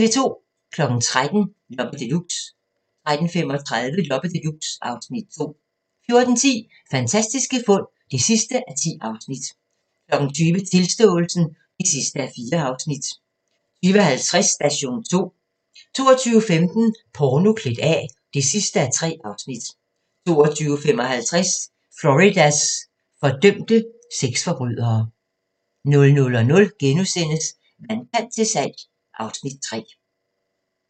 13:00: Loppe Deluxe 13:35: Loppe Deluxe (Afs. 2) 14:10: Fantastiske fund (10:10) 20:00: Tilståelsen (4:4) 20:50: Station 2 22:15: Porno klædt af (3:3) 22:55: Floridas fordømte sexforbrydere 00:00: Vandkant til salg (Afs. 3)*